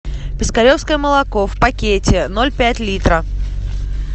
пескаревское молоко в пакете ноль пять литра